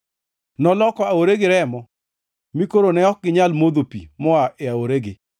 Noloko aoregi remo mi koro ne ok ginyal modho pi moa e aoregi.